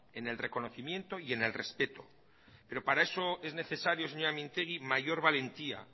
en el reconocimiento y en el respeto pero para eso es necesario señora mintegi mayor valentía